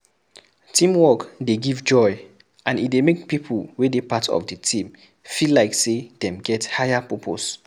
Teamwork dey give joy and e dey make pipo wey dey part of the team feel like sey dem get higher purpose